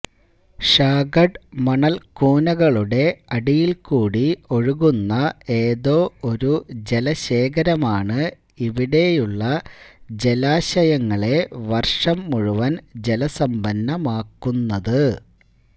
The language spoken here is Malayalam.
ഷാഗഡ് മണല്ക്കൂനകളുടെ അടിയില്ക്കൂടി ഒഴുകുന്ന ഏതോ ഒരു ജലശേഖരമാണ് ഇവിടെയുള്ള ജലാശയങ്ങളെ വര്ഷം മുഴുവന് ജലസമ്പന്നമാക്കുന്നത്